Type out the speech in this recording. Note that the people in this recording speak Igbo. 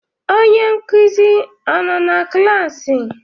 Onye nkụzi a nọ na klaasị?